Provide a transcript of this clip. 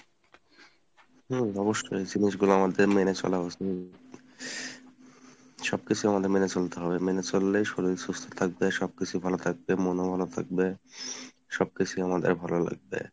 হুম অবশ্যই জিনিসগুলো আমাদের মেনে চলা উচিৎ , সবকিছুই আমাদের মেনে চলতে হবে মেনে চললে শরিল সুস্থ থাকবে সব কিছুই ভালোথাকবে মন ও ভালো থাকবে সব কিছুই আমাদের ভালো লাগবে।